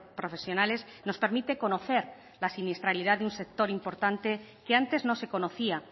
profesionales nos permite conocer la siniestralidad de un sector importante que antes no se conocía